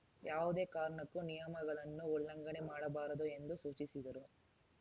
ಯಾವುದೇ ಕಾರಣಕ್ಕೂ ನಿಯಮಗಳನ್ನು ಉಲ್ಲಂಘನೆ ಮಾಡಬಾರದು ಎಂದು ಸೂಚಿಸಿದರು